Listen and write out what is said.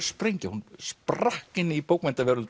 sprengja hún sprakk inn í